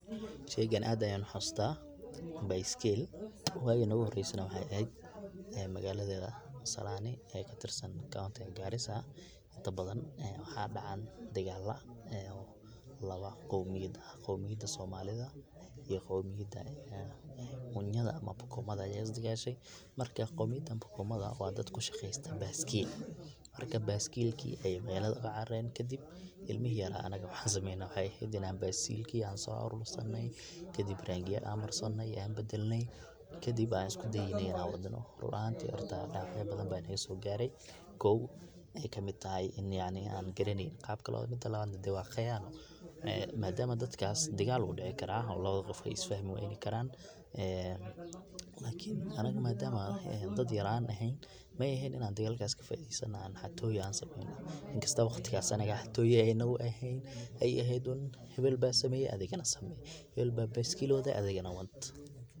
Sheygan aad ayan uxasusta, bayskil wagi noguhoreysana wexey eheed magalada masalani oo katirsan kontiga Garissa inta badan waxa dhacan dagala oo lawa qomiyad ah, qomiyada somalida iyo qomiyada munyada ama bokomada aya isdagashay, marka qomiyada bokomada wa dad kushaqesta bayskil marka bayskilki ayey magalada ogacararen kadib ilmi yaryara, anaga waxan sameyne wexey eheed bayskilkii ayan so arursane kadib rangiya an marsane, an badalne kadib an iskudaynay in ad wadno, ruun ahanti dawacyo badan aya nagasogare kow ey kamid tahay in yacni an garaneyni qabka dadka lolahadlo madama dadkas dagal wu dici kara oo lawada qof wey isfahmi wayni karan lakin anaga madam an dad yar an eheen maehen in an dagalkas kafaideysano oo an xatoyo an sameyno inkasto waqtigas anaga ey xatoyo nagaehen ey eheed un hebel ba sameye adigana same, hebel ba bayskil wade adigana wad.